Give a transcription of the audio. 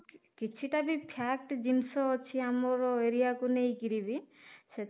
କିଛି ଟା ବି fact ଜିନିଷ ଅଛି ଆମର area କୁ ନେଇକିରି ବି ସେଥି